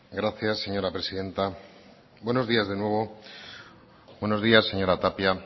gracias señora presidenta buenos días de nuevo buenos días señora tapia